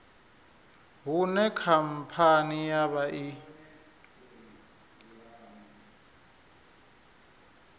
hune khamphani ya vha i